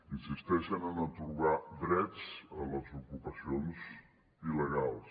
insisteixen en atorgar drets a les ocupacions il·legals